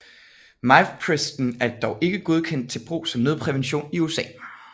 Mifepriston er dog ikke godkendt til brug som nødprævention i USA